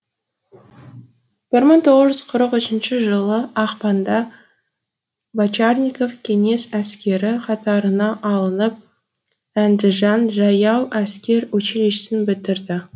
бір мың тоғыз жүз қырық үшінші жылы ақпанда бочарников кеңес әскері қатарына алынып әндіжан жаяу әскер училищесін бітірді